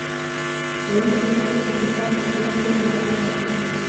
Dawladdu waa inay fulisaa sharciyo lagu ilaalinayo muwaadiniinta.